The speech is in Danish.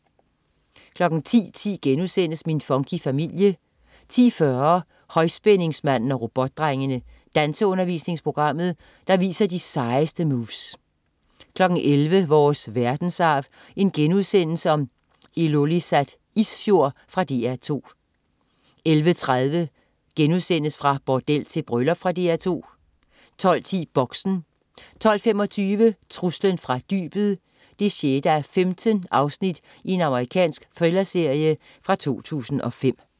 10.10 Min funky familie* 10.40 Højspændingsmanden og Robotdrengene. Danseundervisningsprogrammet, der viser de sejeste moves 11.00 Vores verdensarv: Ilulissat Isfjord.* Fra DR2 11.30 Fra bordel til bryllup.* Fra DR2 12.10 Boxen 12.25 Truslen fra dybet 6:15. Amerikansk thrillerserie fra 2005